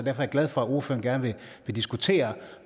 er jeg glad for at ordføreren gerne vil diskutere